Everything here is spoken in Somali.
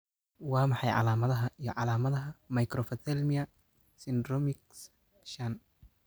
Waa maxay calaamadaha iyo calaamadaha Microphthalmia syndromics shan?